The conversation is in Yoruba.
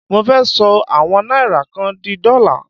Mo fẹ́ ṣọ àwọn náírà kan di dọ́là.